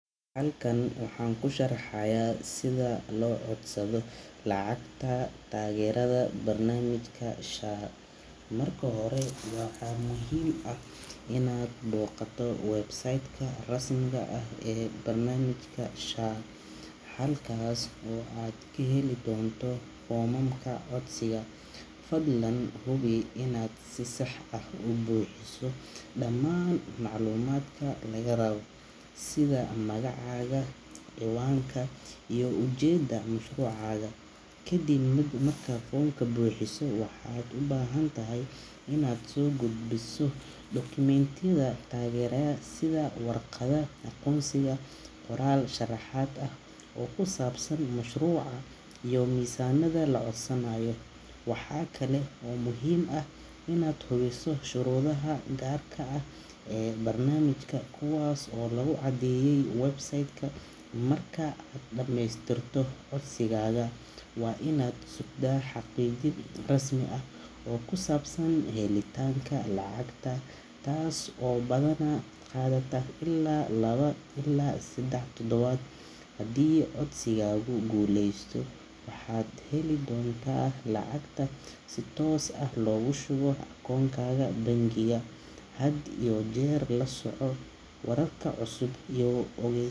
Halkan waxaan ku sharxayaa sida loo codsado lacagta taageerada barnaamijka SHA. Marka hore, waxaa muhiim ah inaad booqato website-ka rasmiga ah ee barnaamijka SHA, halkaas oo aad ka heli doonto foomamka codsiga. Fadlan hubi inaad si sax ah u buuxiso dhammaan macluumaadka lagaa rabo, sida magacaaga, cinwaanka, iyo ujeeddada mashruucaaga. Kadib markaad foomka buuxiso, waxaad u baahan tahay inaad soo gudbiso dukumentiyada taageeraya sida warqadda aqoonsiga, qoraal sharaxaad ah oo ku saabsan mashruuca, iyo miisaaniyadda la codsanayo. Waxa kale oo muhiim ah inaad hubiso shuruudaha gaarka ah ee barnaamijka, kuwaas oo lagu caddeeyay website-ka. Marka aad dhamaystirto codsigaaga, waa inaad sugtaa xaqiijin rasmi ah oo ku saabsan helitaanka lacagta, taas oo badanaa qaadata ilaa laba ilaa saddex toddobaad. Haddii codsigaagu guuleysto, waxaad heli doontaa lacagta si toos ah loogu shubo akoonkaaga bangiga. Had iyo jeer la soco wararka cusub iyo ogey.